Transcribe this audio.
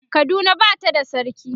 Kaduna Bata da sarki